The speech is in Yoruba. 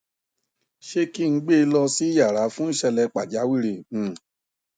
ṣé kí n gbe lọ sí yàrà fún ìṣẹlẹ pàjáwìrì um